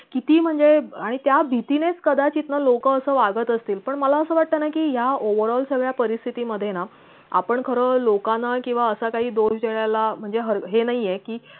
किती म्हणजे आणि त्या भीतीनेच कदाचित ना लोक अस वागत असतील पण मला असा वाटत ना कि या overall सगळ्या परिस्थिती मधे ना आपण खर लोकांना किंवा असा काही म्हणजे हे नाहीयेकि